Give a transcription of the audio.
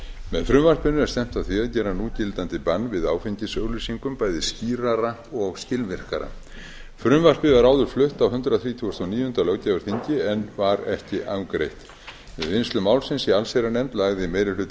með frumvarpinu er stefnt að því að gera núgildandi bann við áfengisauglýsingum bæði skýrara og skilvirkara frumvarpið var áður flutt á hundrað þrítugasta og níunda löggjafarþingi en var ekki afgreitt við vinnslu málsins í allsherjarnefnd lagði meiri hluti